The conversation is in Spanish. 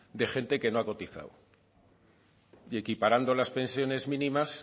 de gente que no ha cotizado y equiparando las pensiones mínimas